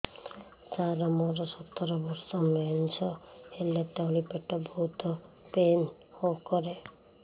ସାର ମୋର ସତର ବର୍ଷ ମେନ୍ସେସ ହେଲେ ତଳି ପେଟ ବହୁତ ପେନ୍ କରେ